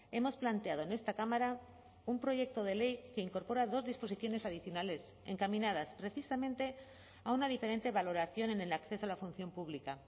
hemos planteado en esta cámara un proyecto de ley que incorpora dos disposiciones adicionales encaminadas precisamente a una diferente valoración en el acceso a la función pública